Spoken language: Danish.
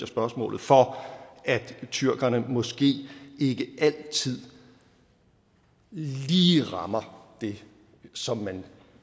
spørgsmålet for at tyrkerne måske ikke altid lige rammer det som